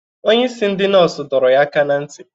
Onye isi ndị nọọsụ doro yaaka na nti